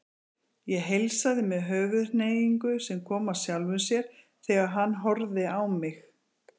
Ég heilsaði með höfuðhneigingu sem kom af sjálfu sér þegar hann horfði á mig.